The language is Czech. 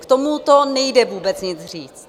K tomuto nejde vůbec nic říct.